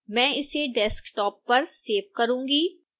मैं इसे desktop पर सेव करूँगा